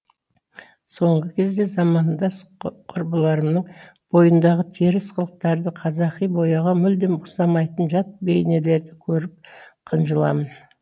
соңғы кезде замандас құрбыларымның бойындағы теріс қылықтарды қазақи бояуға мұлдем ұқсамайтын жат бейнелерді көріп қынжыламын